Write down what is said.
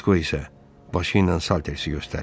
Disko isə başı ilə Saltersi göstərdi.